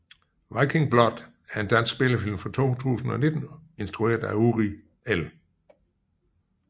Viking Blood er en dansk spillefilm fra 2019 instrueret af Uri L